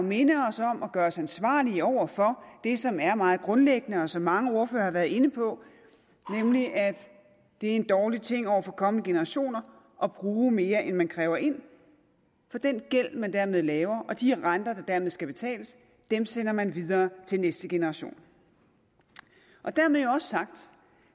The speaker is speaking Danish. minde os om og gøre os ansvarlige over for det som er meget grundlæggende og som mange ordførere har været inde på nemlig at det er en dårlig ting over for kommende generationer at bruge mere end man kræver ind for den gæld man dermed laver og de renter der dermed skal betales sender man videre til næste generation dermed jo også sagt